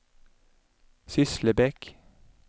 Sysslebäck